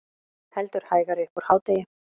Heldur hægari upp úr hádegi